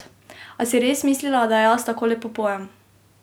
A si res mislila, da jaz tako lepo pojem?